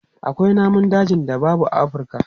Akwai namun dajin da babu a Afurka.